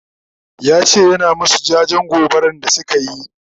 yace yana masu jajen gobaran da sukayi